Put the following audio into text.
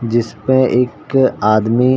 जिस पे एक आदमी--